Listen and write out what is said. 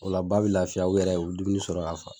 Ola ba ne lafiya olu yɛrɛ o be dumuni sɔrɔ k'a fa